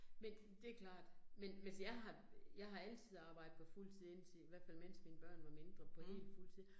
Men det klart, men men altså jeg har jeg har altid arbejdet på fuldtid indtil i hvert fald mens mine børn var mindre, på hel fultid